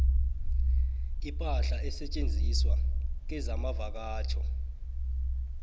ipahla esetjenziswa kezamavakatjho